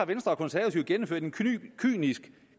venstre og konservative gennemført en kynisk